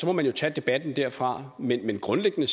må man jo tage debatten derfra men grundlæggende